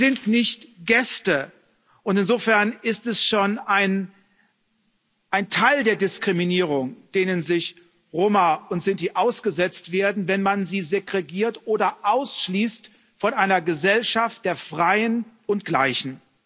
Sie sind nicht Gäste, und insofern ist es schon ein Teil der Diskriminierung, der Roma und Sinti ausgesetzt werden, wenn man sie segregiert oder ausschließt von einer Gesellschaft der Freien und Gleichen.